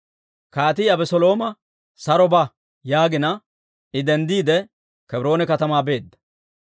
Kaatii Abeselooma, «Saro ba» yaagina, I denddiide Kebroone katamaa beedda.